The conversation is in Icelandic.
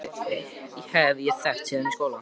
Hann Egil minn hef ég þekkt síðan í skóla.